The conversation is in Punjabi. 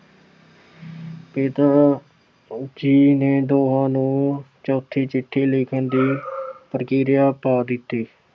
ਪਿਤਾ ਜੀ ਨੇ ਦੋਹਾਂ ਨੂੰ ਚੌਥੀ ਚਿੱਠੀ ਲਿਖਣ ਦੀ ਪ੍ਰਕਿਰਿਆ ਪਾ ਦਿੱਤੀ।